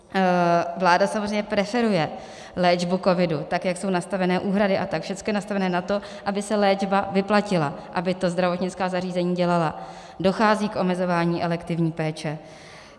Vláda samozřejmě preferuje léčbu covidu, tak jak jsou nastavené úhrady a tak všechno je nastavené na to, aby se léčba vyplatila, aby to zdravotnická zařízení dělala, dochází k omezování elektivní péče.